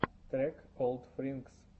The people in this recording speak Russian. трек олдфринкс